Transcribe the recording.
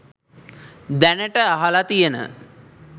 දැනට අහල තියන